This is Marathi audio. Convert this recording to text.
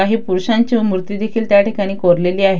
काही पुरशांच्या मूर्ती देखील त्या ठिकाणी कोरलेल्या आहे.